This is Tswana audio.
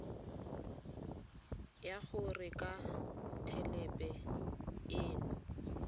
ya go reka thelebi ene